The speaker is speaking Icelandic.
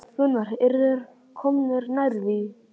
Gunnar: Eru þeir komnir nær því?